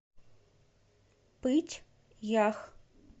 пыть ях